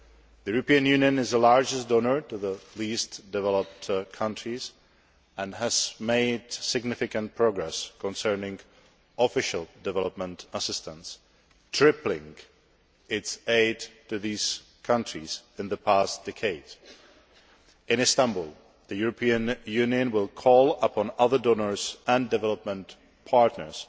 The European Union is the largest donor to the least developed countries and has made significant progress concerning Official Development Assistance, tripling its aid to these countries in the past decade. In Istanbul, the European Union will call upon other donors and development partners